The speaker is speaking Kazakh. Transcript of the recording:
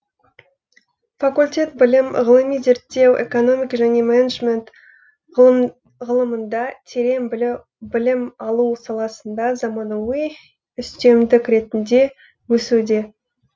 факультет білім ғылыми зерттеу экономика және менеджмент ғылымында терең білім алу саласында заманауи үстемдік ретінде өсуде